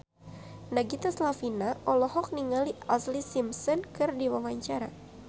Nagita Slavina olohok ningali Ashlee Simpson keur diwawancara